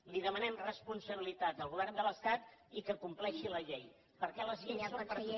i li demanem responsabilitat al govern de l’estat i que compleixi la llei perquè les lleis són per a tothom